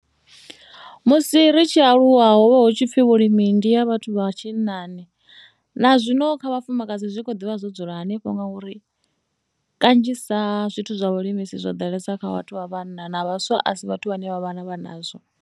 Musi ri tshi aluwa ho vha hu tshi pfhi vhulimi ndi ha vhathu vha tshinnani na zwino kha vhafumakadzi zwi kho ḓivha zwo dzula henefho ngauri kanzhisa zwithu zwa vhulimi zwo ḓalesa kha vhathu vha vhanna na vhaswa a si vhathu vhane vha vha na ndavha nazwo.